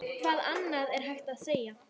Hvað annað er hægt að segja?